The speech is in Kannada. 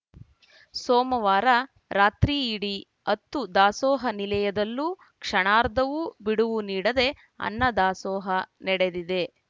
ಸೋಮವಾರ ರಾತ್ರಿಯಿಡೀ ಹತ್ತೂ ದಾಸೋಹ ನಿಲಯದಲ್ಲೂ ಕ್ಷಣಾರ್ಧವೂ ಬಿಡುವು ನೀಡದೆ ಅನ್ನದಾಸೋಹ ನಡೆದಿದೆ